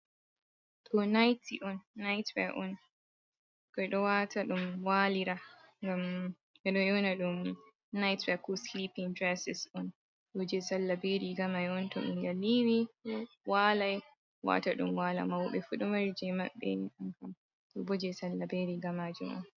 Ɗo naity on, nait wea on. Ɓikkoi ɗo waata ɗum waalira, ngam ɓe ɗo ƴona ɗum nait wea ko slipin dresis on. Ɗo jei salla be riga mai on. To ɓingel yiiwi walai, waata ɗum wala. Mauɓe fu ɗo mari jei maɓbe ni. Ɗo bo jei salla be riga majum on.